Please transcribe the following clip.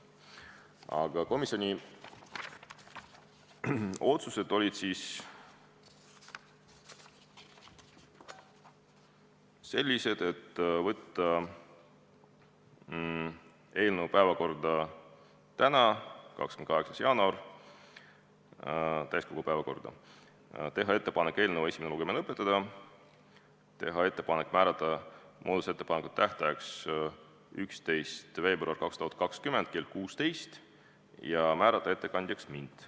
Aga komisjoni otsused olid sellised: saata eelnõu täiskogu päevakorda tänaseks, 28. jaanuariks, teha ettepanek eelnõu esimene lugemine lõpetada, teha ettepanek määrata muudatusettepanekute esitamise tähtajaks 11. veebruar 2020 kell 16 ja määrata ettekandjaks mind.